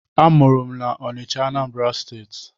Amụrụ m na Ọnịcha, Anambra steeti